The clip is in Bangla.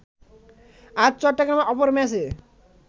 আজ চট্টগ্রামে অপর ম্যাচে